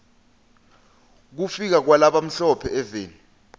kufika kwala bamhlo phe eveni